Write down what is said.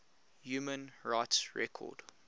human rights record